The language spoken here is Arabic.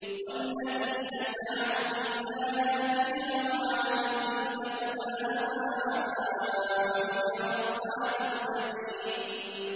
وَالَّذِينَ سَعَوْا فِي آيَاتِنَا مُعَاجِزِينَ أُولَٰئِكَ أَصْحَابُ الْجَحِيمِ